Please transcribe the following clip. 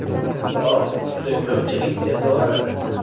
Biroq, juda ko‘pchilik jazolanadi.